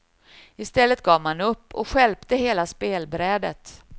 I stället gav man upp, stjälpte hela spelbrädet.